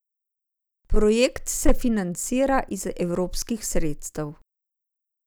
Projekt se financira iz evropskih sredstev.